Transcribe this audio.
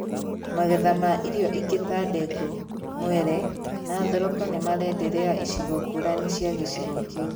Magetha ma irio ingĩ ta ndengũ, mwere, na thoroko nimarenderea icigo ngũrani cia gĩcigo kĩu